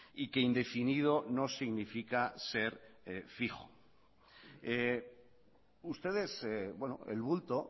y que indefinido no significa ser fijo ustedes el bulto